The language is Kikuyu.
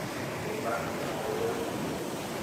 Nyũmba ĩna ũtheri mũingĩ